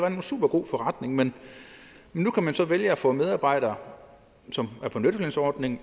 en supergod forretning men nu kan man så vælge at få medarbejdere som er på nettolønsordning